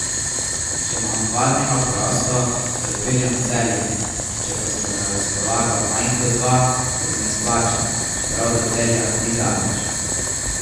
Če imam dva dneva prosto, se odpeljem v Celje, če pa sta na razpolago manj kot dva, se mi ne splača, čeprav do Celja ni daleč.